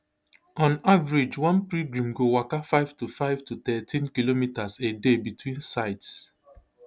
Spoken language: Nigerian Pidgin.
on average one pilgrim go waka five to five to thirteen kilometres a day between sites